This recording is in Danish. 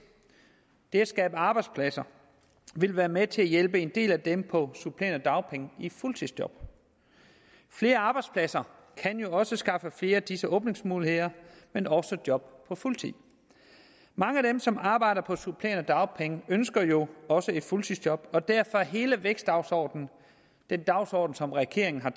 det at skabe arbejdspladser vil være med til at hjælpe en del af dem på supplerende dagpenge i et fuldtidsjob flere arbejdspladser kan jo også skaffe flere af disse åbningsmuligheder men også job på fuld tid mange af dem som arbejder på supplerende dagpenge ønsker jo også et fuldtidsjob og derfor er hele vækstdagsordenen den dagsorden som regeringen har